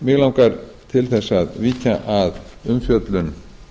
mig langar til þess að víkja að umfjöllun